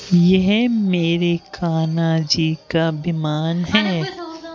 यह मेरे कान्हा जी का बीमान है।